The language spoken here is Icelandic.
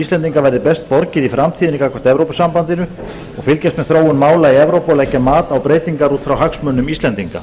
íslendinga verði best borgið í framtíðinni gagnvart evrópusambandinu og fylgjast með þróun mála í evrópu og leggja mat á breytingar út frá hagsmunum íslendinga